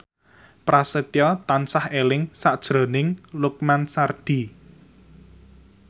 Prasetyo tansah eling sakjroning Lukman Sardi